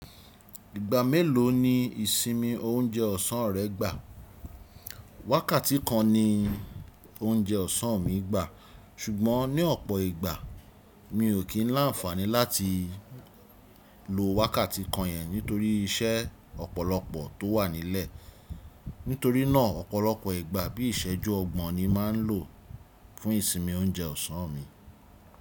Ìgbà mélòó ni ìsinmi oúnjẹ ọ̀sán rẹ gbà? Wákàtí kan ni oúnjẹ ọ̀sán mi gbà, ṣùgbọ́n ní ọ̀pọ̀ ìgbà mi ò kí ń láǹfàní láti lo wákàtí kan yẹn nítorí iṣẹ́ ọ̀pọ̀lọpọ̀ tó wà nílẹ̀. Nítorí náà ọ̀pọ̀lọpọ̀ ìgbà bí ìṣẹ́jú ọgbọ̀n ni màa ń lò fún ìsinmi oúnjẹ ọ̀sán mi.